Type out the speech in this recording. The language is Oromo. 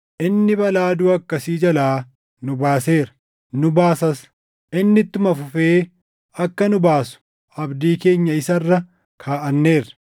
Inni balaa duʼa akkasii jalaa nu baaseera; nu baasas. Inni ittuma fufee akka nu baasu abdii keenya isa irra kaaʼanneerra.